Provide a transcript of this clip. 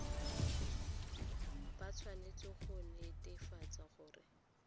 ba tshwanetse go netefatsa gore